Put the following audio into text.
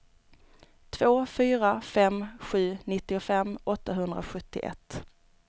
två fyra fem sju nittiofem åttahundrasjuttioett